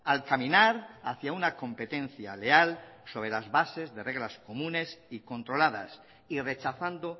al caminar hacia una competencia leal sobre las bases de reglas comunes y controladas y rechazando